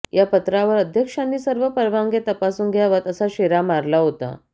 या पत्रावर अध्यक्षांनी सर्व परवानग्या तपासून घ्याव्यात असा शेरा मारला होता